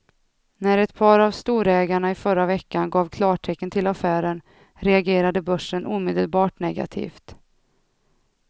När ett par av storägarna i förra veckan gav klartecken till affären reagerade börsen omedelbart negativt.